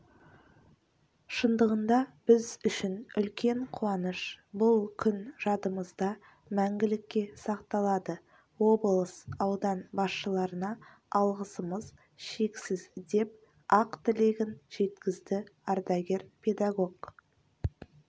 шындығында біз үшін үлкен қуаныш бұл күн жадымызда мәңгілікке сақталады облыс аудан басшыларына алғысымыз шексіз деп ақ тілегін жеткізді ардагер педагог